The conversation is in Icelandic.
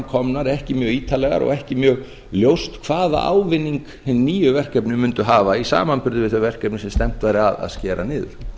komnar ekki mjög ítarlegar og ekki mjög ljóst hvaða ávinning hin nýju verkefni mundu hafa í samanburði við þau verkefni sem stefnt væri að skera niður